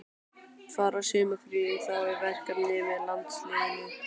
Fara sumarfríin þá í verkefni með landsliðinu?